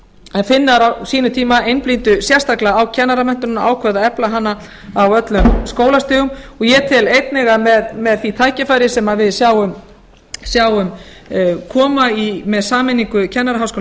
en finnar á sínum tíma einblíndu sérstaklega á kennaramenntunina og ákváðu að efla hana á öllum skólastigum og ég tel einnig að með því tækifæri sem við sjáum koma með sameiningu kennaraháskóla